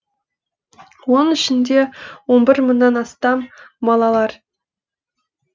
оның ішінде он бір мыңнан астамы балалар